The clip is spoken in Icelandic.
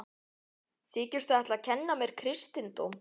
Þykistu ætla að kenna mér kristindóm?